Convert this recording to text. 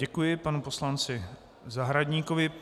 Děkuji panu poslanci Zahradníkovi.